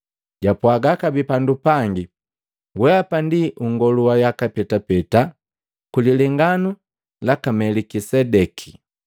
Japwaga kabee pandu pangi, “Weapa ndi unngolu wa yaka petapeta, kwi lilenganu laka Melikisedeki.”